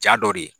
Jaa dɔ de ye